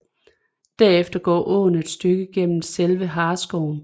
Derefter går åen et stykke gennem selve Hareskoven